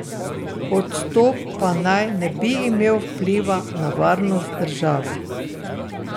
Odstop pa naj ne bi imel vpliva na varnost države.